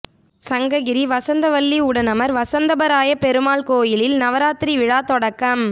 சங்ககிரி வஸந்தவல்லி உடனமர் வஸந்தவல்லபராய பெருமாள் கோயிலில் நவராத்தி விழா தொடக்கம்